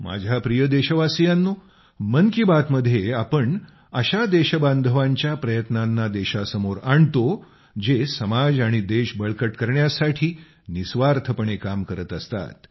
माझ्या प्रिय देशवासियांनो मन की बात मध्ये आपण अशा देशबांधवांच्या प्रयत्नांना देशासमोर आणतो जे समाज आणि देश बळकट करण्यासाठी निस्वार्थपणे काम करत असतात